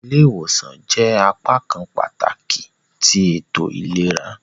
Awọn ile-iwosan jẹ apakan pataki ti eto ilera.